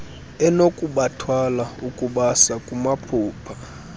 enokubathwala ukubasa kumaphupha